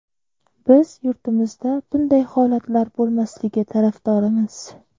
Biz yurtimizda bunday holatlar bo‘lmasligi tarafdorimiz.